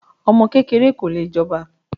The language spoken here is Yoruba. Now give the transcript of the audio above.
Ọmọ kékeré ko lè jọba.